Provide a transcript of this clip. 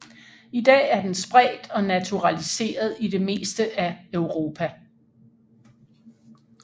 I dag er den spredt og naturaliseret i det meste af Europa